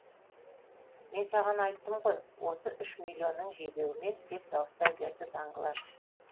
мен саған айттым ғой осы үш миллионның жебеуімен деп дауыстай берді данглар